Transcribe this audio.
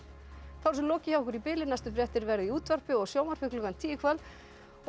þá er þessu lokið hjá okkur í bili næstu fréttir verða í útvarpi og sjónvarpi klukkan tíu í kvöld og